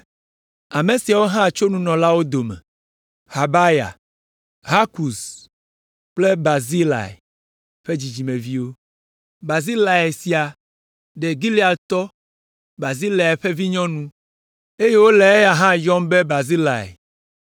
Ame siawo hã tso nunɔlawo dome: Habaya, Hakɔz kple Barzilai ƒe dzidzimeviwo. Barzilai sia ɖe Gileadtɔ Barzilai ƒe vinyɔnu, eye wole eya hã yɔm be Barzilai.